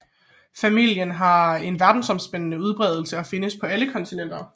Familien har en verdensomspændende udbredelse og findes på alle kontinenter